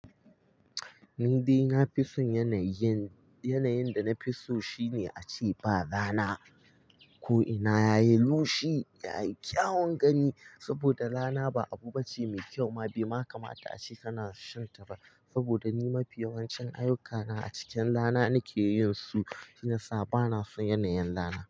Ni dai na fi son yanayi. Yanayin da na fi so shine a ce ba rana ko'ina yayi lushi, yayi kyawun gani saboda rana ba abu bace mai kyau ma. Bai ma kamata a ce kana shan ta ba saboda ni mafi yawancin ayyukana a cikin rana nake yin su shi ne yasa ba na son yanayin rana.